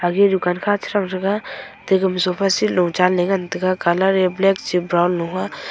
age dukan kha che thang thega ate sofa seat low chenley ngan taiga colour black brown a.